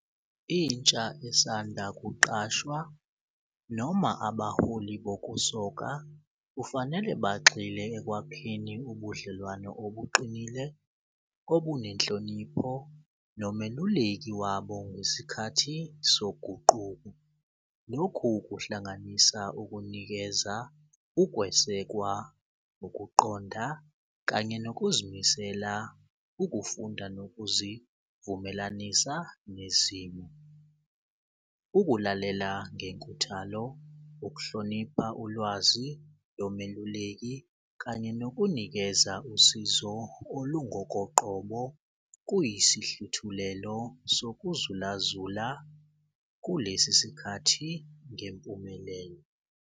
Intsha esanda kuqashwa noma abaholi bokusoka kufanele bagxile ekwakheni ubudlelwano obuqinile obunenhlonipho nomeluleki wabo ngesikhathi soguquko. Lokhu kuhlanganisa ukunikeza ukwesekwa, nokuqonda kanye nokuzimisela, ukufunda nokuzivumelanisa nezimo. Ukulalela ngenkuthalo, ukuhlonipha ulwazi lomeluleki, kanye nokunikeza usizo olungokoqobo kuyisihluthulelo sokuzulazula kulesi sikhathi ngempumelelo.